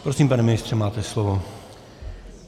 Prosím, pane ministře, máte slovo.